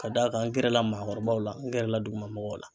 Ka d'a kan n gɛrɛ la maakɔrɔbaw la, n gɛrɛ la dugu ma mɔgɔw la.